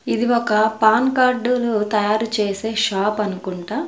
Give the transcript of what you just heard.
ఇది ఒక PAN card ను తయారు చేసే షాప్ అనుకుంటా.